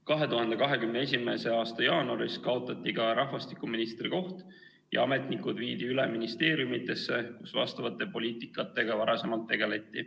2021. aasta jaanuaris kaotati ka rahvastikuministri koht ja ametnikud viidi üle ministeeriumidesse, kus vastavate poliitikatega varasemalt tegeleti.